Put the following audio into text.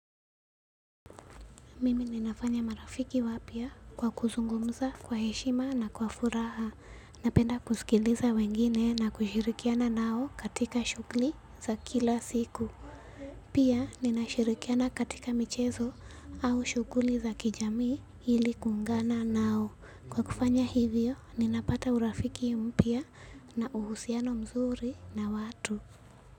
Mimi ninafanya marafiki wapya kwa kuzungumza kwa heshima na kwa furaha. Napenda kusikiliza wengine na kushirikiana nao katika shughuli za kila siku. Pia ninashirikiana katika michezo au shughuli za kijamii ili kungana nao. Kwa kufanya hivyo, ninapata urafiki mpya na uhusiano mzuri na watu.